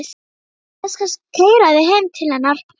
Ég skal keyra þig heim til hennar.